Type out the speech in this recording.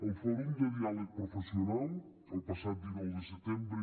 el fòrum de diàleg professional el passat dinou de setembre